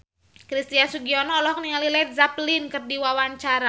Christian Sugiono olohok ningali Led Zeppelin keur diwawancara